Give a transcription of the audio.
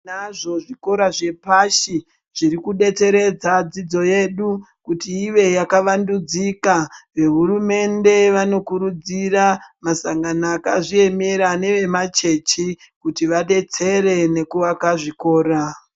Tinazvo zvikora zvepashi zviri kudetseredza dzidzo kuti ive yakavandudzika. VeHurumende vanokurudzira madandiko akazvimiririra nemachechi kuti vadetsere nekuaka zvikora.